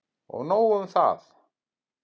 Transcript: Og nóg um það.